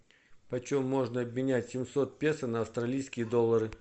почем можно обменять семьсот песо на австралийские доллары